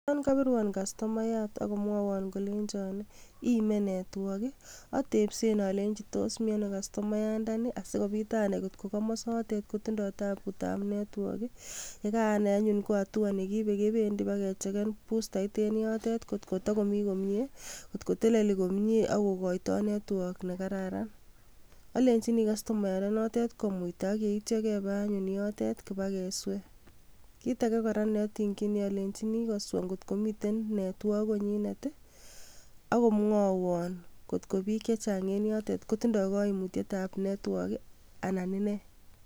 Yon kobiruan customayat akomwowon kolenjon iime network atepsen alenji miano castomayandani asikopit anai ngot kokomosotet kotindoo tabutab netwok yekaanai anyun ko atua nekiibe kebendi ibakecheken bustait en yotet ngotkotokomii komie kotkoteleli komie akokoito network nekararan alenjini castomayandenotet komuita akyeityo kepee anyun yotet kibakeswee, kit ake neotingyini alenjin koswa ngot komiten netwok konyitet akomwowon ngot ko biik chechang en yotet kotindoo koimutietab netwok ana inee.